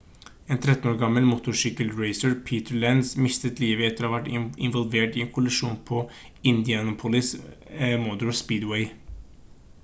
en 13 år gammel motorsykkelracer peter lenz mistet livet etter å ha vært involvert i en kollisjon på indianapolis motor speedway